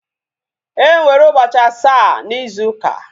Enwere ụbọchị asaa na ịzu uka